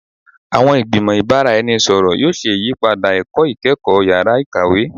Awọn igbimọ ibaraenisepo yoo ṣe iyipada ẹkọ ikẹkọ yara ikawe